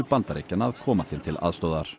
Bandaríkjanna að koma þeim til aðstoðar